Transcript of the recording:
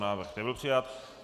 Návrh nebyl přijat.